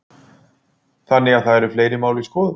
Þannig að það eru fleiri mál í skoðun?